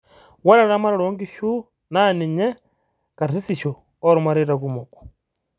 ore eramatare oo inkishu naa ninye karsisisho oo irmaraita kumok